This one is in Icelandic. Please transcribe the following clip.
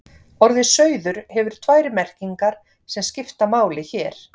orðið sauður hefur tvær merkingar sem skipta máli hér